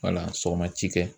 Wala sɔgɔma ci kɛ.